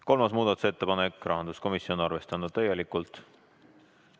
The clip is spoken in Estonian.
Kolmas muudatusettepanek, esitajaks rahanduskomisjon, arvestatud täielikult.